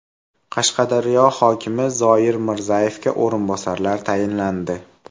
Qashqadaryo hokimi Zoir Mirzayevga o‘rinbosarlar tayinlandi.